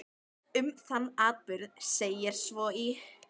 Um þann atburð segir svo í